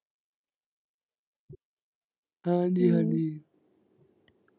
ਹਾਂਜੀ ਹਾਂਜੀ।